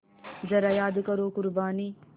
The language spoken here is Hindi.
ज़रा याद करो क़ुरबानी